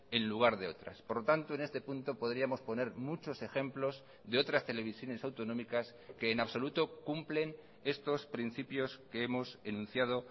en lugar de otras por lo tanto en este punto podríamos poner muchos ejemplos de otras televisiones autonómicas que en absoluto cumplen estos principios que hemos enunciado